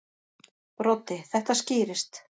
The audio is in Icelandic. Broddi: Þetta skýrist.